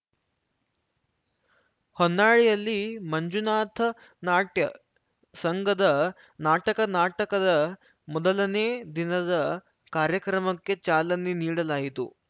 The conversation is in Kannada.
ಹೊನ್ನಾಳಿಯಲ್ಲಿ ಮಂಜುನಾಥನಾಟ್ಯ ಸಂಘದ ನಾಟಕ ನಾಟಕದ ಮೊದಲನೇ ದಿನದ ಕಾರ್ಯಕ್ರಮಕ್ಕೆ ಚಾಲನೆ ನೀಡಲಾಯಿತು